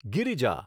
Girija